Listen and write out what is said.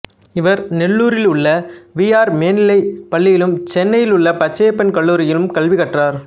இவர் நெல்லூரிலுள்ள V R மேநிலைப் பள்ளியிலும் சென்னையிலுள்ள பச்சையப்பன் கல்லூரியிலும் கல்வி கற்றார்